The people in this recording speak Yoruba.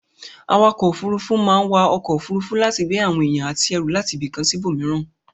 Awakò òfurufú a máa wa okò òfurufú láti gbé àwon èyàn àti erù látibìkan síbò míràn